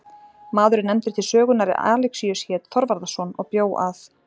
Maður er nefndur til sögunnar er Alexíus hét Þorvarðarson og bjó að